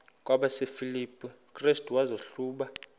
kwabasefilipi restu wazihluba